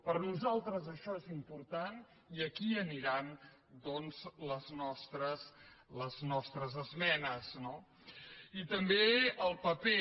per nosaltres això és important i aquí aniran doncs les nostres esmenes no i també el paper